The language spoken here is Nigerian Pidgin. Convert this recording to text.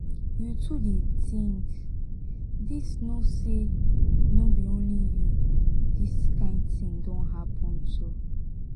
you too dey think this know say no be only you this kind thing don happen to.